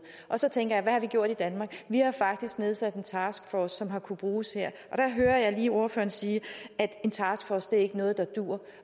og så tænker jeg hvad har vi gjort i danmark vi har faktisk nedsat en taskforce som har kunnet bruges her og der hører jeg lige ordføreren sige at en taskforce ikke er noget der duer